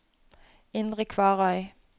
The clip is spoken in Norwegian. Indre Kvarøy